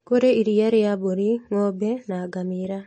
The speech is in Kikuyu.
Kũrĩ iriia rĩa mbũri, ng'ombe, na ngamĩra